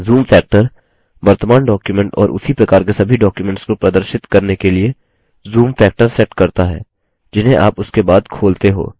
zoom factor वर्तमान document और उसी प्रकार के सभी documents को प्रदर्शित करने के लिए zoom factor sets करता है जिन्हें आप उसके बाद खोलते हो